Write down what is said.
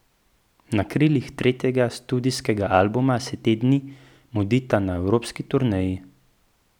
Na krilih tretjega studijskega albuma se te dni mudita na evropski turneji.